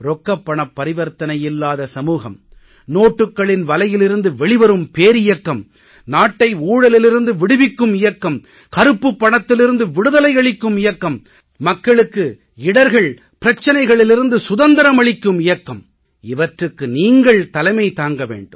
ரொக்கப் பணப் பரிவர்த்தனையில்லாத சமூகம் நோட்டுக்களின் வலையிலிருந்து வெளிவரும் பேரியக்கம் நாட்டை ஊழலிலிருந்து விடுவிக்கும் இயக்கம் கருப்புப் பணத்திலிருந்து விடுதலை அளிக்கும் இயக்கம் மக்களுக்கு இடர்கள் பிரச்சனைகளிலிருந்து சுதந்திரம் அளிக்கும் இயக்கம் இவற்றுக்கு நீங்கள் தலைமை தாங்க வேண்டும்